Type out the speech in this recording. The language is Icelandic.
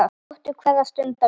Njóttu hverrar stundar vel.